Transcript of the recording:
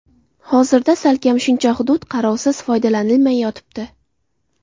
Hozirda salkam shuncha hudud qarovsiz, foydalanilmay yotibdi.